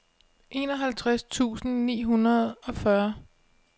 enoghalvtreds tusind ni hundrede og fyrre